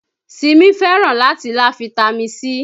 Simi fẹ́ràn láti lá fitami C